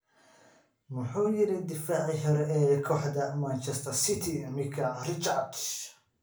Muxuu yiri daaficii hore ee kooxda Manchester City Micah Richards?